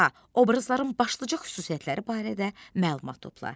A. Obrazların başlıca xüsusiyyətləri barədə məlumat topla.